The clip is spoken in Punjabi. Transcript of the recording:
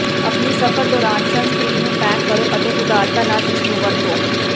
ਆਪਣੀ ਸਫ਼ਰ ਦੌਰਾਨ ਸਨਸਕ੍ਰੀਨ ਨੂੰ ਪੈਕ ਕਰੋ ਅਤੇ ਉਦਾਰਤਾ ਨਾਲ ਇਸਨੂੰ ਵਰਤੋ